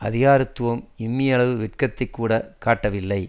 அதிகாரத்தும் இம்மி அளவு வெட்கத்தைக்கூட காட்டவில்லை